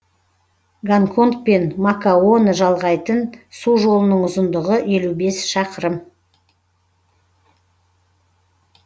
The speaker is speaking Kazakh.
гонконг пен макаоны жалғайтын су жолының ұзындығы елу бес шақырым